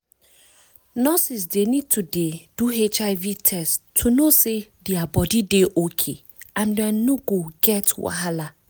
nurses dey need to dey do hiv test to know say their body dey okay and dem no go get wahala